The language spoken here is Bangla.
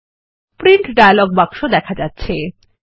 প্রিন্ট ডায়লগ বাক্স দেখা যাচ্ছে